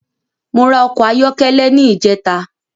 Mo ra ọkọ̀ ayọ́kẹ́lẹ́ ní ìjẹta